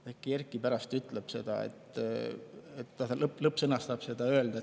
Äkki Erkki pärast ütleb seda, lõpus sõnastab selle öeldu.